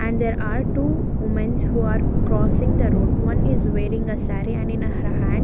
and there are two womens who are crossing the road one is wearing a saree and in her hand --